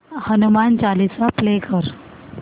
Hanuman Chalisa play कर